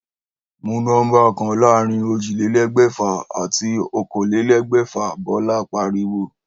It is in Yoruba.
Mú nómbà kan láàárín ójìlélégbèfà àti okòólélégbèfà!', Bólá pariwo